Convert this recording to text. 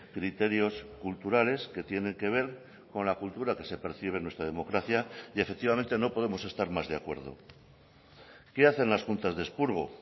criterios culturales que tienen que ver con la cultura que se percibe en nuestra democracia y efectivamente no podemos estar más de acuerdo qué hacen las juntas de expurgo